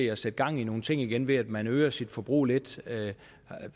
at sætte gang i nogle ting igen ved at man øger sit forbrug lidt